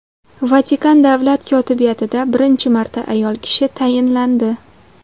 Vatikan davlat kotibiyatida birinchi marta ayol kishi tayinlandi.